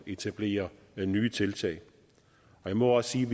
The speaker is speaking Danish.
etablere nye tiltag jeg må også sige